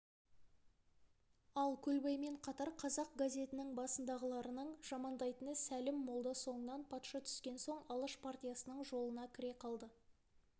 ал көлбаймен қатар қазақ газетінің басындағыларының жамандайтыны сәлім молда соңынан патша түскен соң алаш партиясының жолына кіре қалды